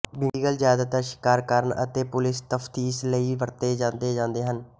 beagle ਜਿਆਦਾਤਰ ਸ਼ਿਕਾਰ ਕਰਨ ਅਤੇ ਪੁਲਿਸ ਤਫਤੀਸ਼ ਲਈ ਵਰਤੇ ਜਾਂਦੇ ਜਾਂਦੇ ਹਨ